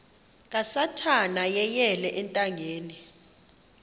kasathana yeyele ethangeni